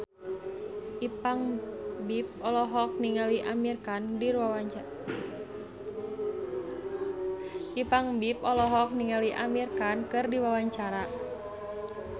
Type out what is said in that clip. Ipank BIP olohok ningali Amir Khan keur diwawancara